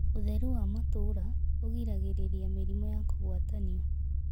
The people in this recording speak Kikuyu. Ũtherũ wa matũũra ũgĩragĩrĩrĩa mĩrĩmũ ya kũgwatanĩo